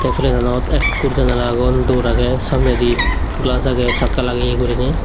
ei plenanot ekkur janala agon door agey samnedi glaaj agey chakka lageye guriney.